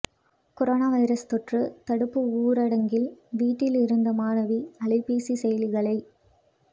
corona virus தொற்று தடுப்பு ஊரடங்கில் வீட்டில் இருந்த மாணவி அலைபேசி செயலிகளை